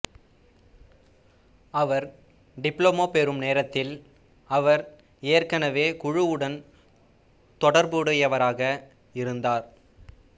அவர் diploma பெறும் நேரத்தில் அவர் ஏற்கனவே குழுவுடன் தொடர்புடையவராக இருந்தார்